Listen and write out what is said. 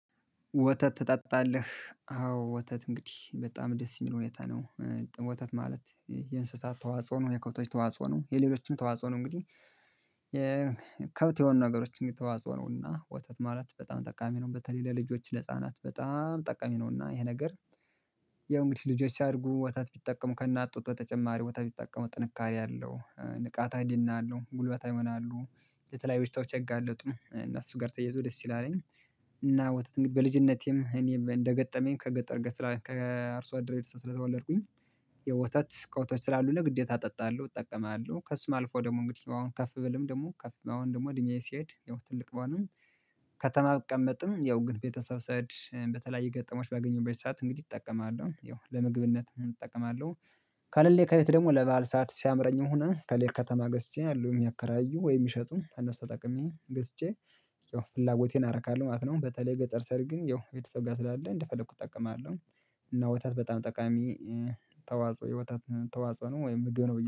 ወተት ትጠጣለህ? አዎ ወተት እንግዲህ በጣም ደስ የሚለው ሁኔታ ነው ወተት ማለት የእንስሳት ተዋጽኦ ነው የከብቶች ተዋጽኦ ነው የሌሎችም ተዋጽኦ ነው እንግዲህ የከብት የሆኑ ነገሮች እንግዲህ ተዋጽኦ ነውና ወተት ማለት በጣም ጠቃሚ ነው በተለይ ለልጆች ለህፃናት በጣም ጠቀሚ ነውና ይሄ ነገር ያው እንግዲህ ልጆች ሲያደርጉ ወተት ቢጠቀሙ ከእናት ጡት በተጨማሪ ወተት ቢጠቀሙ ጥንካሬ አለው ንቃተ ህሊና አለው ጉልበታዊ ይሆናሉ ለተለያዩ በሽታዎች አይጋለጡም እና እሱ ጋር ተየዘው ደስ ይላለኝ እና ወተት በልጅነቴም እኔም እንደገጠመኝ ከገጠር ጋር ከአርሶ አደሮች ስለተወለድኩኝ የወተት ከወተቶች ስላሉ ለግዴታ እጠጣለሁ እጠቀማለሁ ከሱም አልፎ ደግሞ እንግዲህ አሁን ከፍ ብልም ደግሞ ከፍ አሁን ደግሞ እድሜዬ ሲሄድ ይኸው ትልቅ በሆነም ከተማ ብቀመጥም ያው ግን ቤተሰብ ስሄድ በተለያየ ገጠመኞች ባገኘሁበት ሰዓት እንግዲህ እጠቀማለሁ ያው ለመግብነት እጠቀማለሁ ካለሌ ከቤት ደግሞ ለበአል ሰዓት ሲያምረኝም ሆነ ከሌት ከተማ ገዝቼ አሉ የሚያከራዩ ወይ ከእነሱ ተጠቅሜ ገዝቼ ፍላጎቴን አረካለሁ ማለት ነው በተለይ ገጠር ስሄድ ግን ያው ቤተሰቦቼ ጋር ስላለ እንደፈለኩት እጠቀማለሁ። እና ወታት በጣም ጠቃሚ ተዋጽኦ የወታት ተዋጽኦ ነው ወይም ምግብ ነው።